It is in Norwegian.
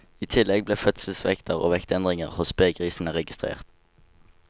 I tillegg ble fødselsvekter og vektendringer hos spegrisene registrert.